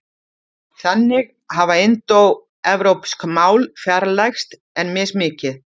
Þannig hafa indóevrópsk mál fjarlægst en mismikið.